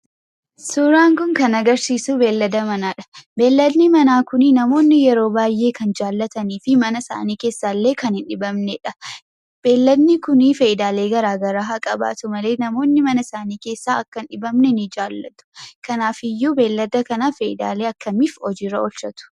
Suuraan kun kan agarsiisu beeylada manaadha. Beeyladi manaa kun namoonni yeroo baay'ee kan jaallatanidha. Mana isaanii keessaallee kan hin dhibamnedha. Beeyladni kun fayidaalee garaagaraa haa qabaatu malee, namoonni mana isaanii keessa akka inni hin dhibamne ni jaallatu. Kanaafiyyuu beeylada kana fayidaalee akkamiif hojiirra oolchatu?